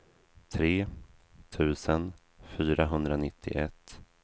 tre tusen fyrahundranittioett